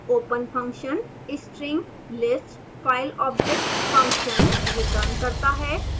1 open function